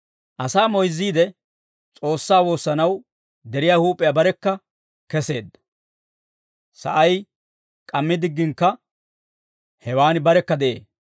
Asaa moyzziide, S'oossaa woossanaw deriyaa huup'iyaa barekka keseedda; sa'ay k'ammi digginakka hewaan barekka de'ee.